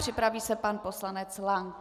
Připraví se pan poslanec Lank.